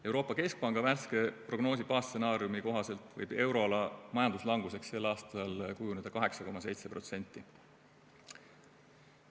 Euroopa Keskpanga värske prognoosi baasstsenaariumi kohaselt võib euroala majanduslanguseks sel aastal kujuneda 8,7%.